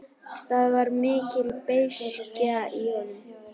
Það var mikil beiskja í honum.